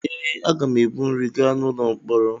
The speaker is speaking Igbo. Ee, aga m ebu nri gaa n’ụlọ mkpọrọ.